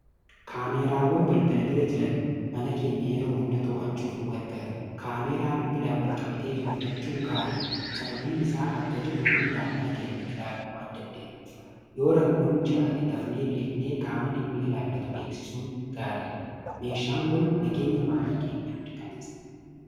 Kaameeraawwan balbala bira jiran mana keenya yeroo hunda too'achuuf nu gargaaru. Kaameeraa bilbilaa wal-qabatee jiru filachuun gaarii dha. Sababbiin isaa bakka jirruu hunda mana keenya ilaaluu waan dandeeyyuuf yoo rakkoon jiraate dafnee beeknee qaama dhimmi ilaallatu beeksisuun gaarii dha. Meeshaan kun nageenya maatii keenyaa mirkaneessa.